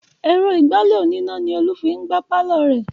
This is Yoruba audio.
Èrò ìgbálẹ̀ oníná ni Olú fi ń gbá pàlọ́ rẹ̀